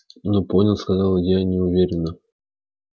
ну поняла сказала я неуверенно